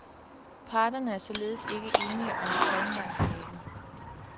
Parterne er således ikke enige om talmaterialet.